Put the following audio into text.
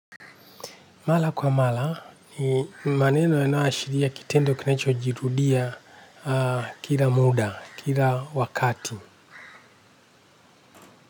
Mara kwa mara ni maneno inayo ashiria kitendo kinacho jirudia kila muda kila wakati.